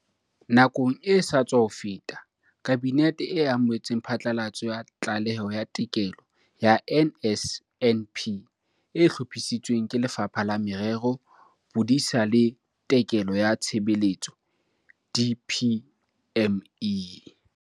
Nakong e sa tswa feta, Kabinete e amohetse phatlalatso ya Tlaleho ya Tekolo ya NSNP e hlophisitsweng ke Lefapha la Merero, Bodisa le Tekolo ya Tshebetso, DPME.